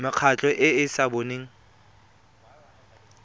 mekgatlho e e sa boneng